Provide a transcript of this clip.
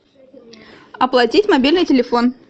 оплатить мобильный телефон